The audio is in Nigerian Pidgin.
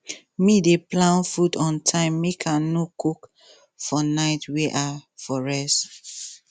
me dey plan food on time make i no cook for night wen i for rest